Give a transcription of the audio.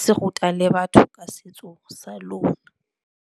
Se ruta le batho ka setso sa lona.